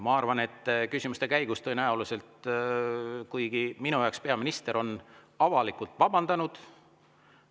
Minu on peaminister avalikult vabandanud.